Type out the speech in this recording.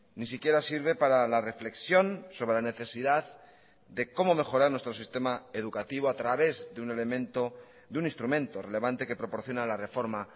ni siquiera sirve para la reflexión sobre la necesidad de cómo mejorar nuestro sistema educativo a través de un elemento de un instrumento relevante que proporciona la reforma